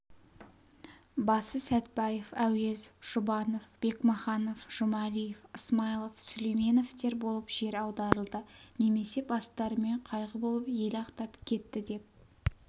басы сәтбаев әуезов жұбанов бекмаханов жұмалиев ысмайылов сүлейменовтер болып жер аударылды немесе бастарымен қайғы болып ел ақтап кетті деп